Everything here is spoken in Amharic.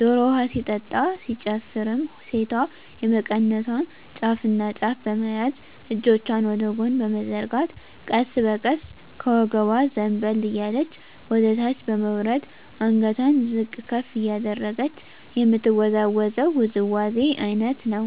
ዶሮ ውሀ ሲጠጣ ሲጨፈርም ሴቷ የመቀነቷን ጫፍና ጫፍ በመያዝ እጆቿን ወደ ጎን በመዘርጋት ቀስ በቀስ ከወገቧ ዘንበል እያለች ወደታች በመውረድ አንገቷን ዝቅ ከፍ እያደረገች የምትወዛወዘው ውዝዋዜ አይነት ነው።